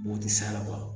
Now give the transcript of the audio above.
O tɛ sa ala